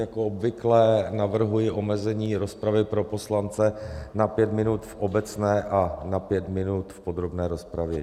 Jako obvykle navrhuji omezení rozpravy pro poslance na pět minut v obecné a na pět minut v podrobné rozpravě.